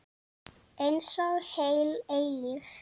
Einsog heil eilífð.